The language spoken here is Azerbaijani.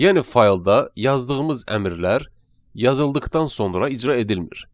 Yəni faylda yazdığımız əmrlər yazıldıqdan sonra icra edilmir.